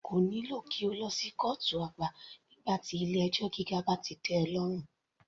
Kò nílò kí o lọ sí kọ́ọ̀tù àgbà nígbà tí ti ilé ẹjọ́ gíga bá ti tẹ́ ọ lọ́rùn.